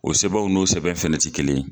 O sɛbɛn n'o sɛbɛn fɛnɛ ti kelen ye.